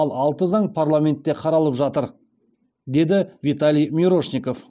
ал алты заң парламентте қаралып жатыр деді виталий мирошников